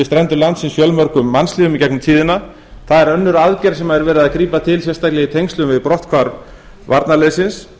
strendur landsins fjölmörgum mannslífum í gegnum tíðina það er önnur aðgerð sem er verið að grípa til sérstaklega í tengslum við brotthvarf varnarliðsins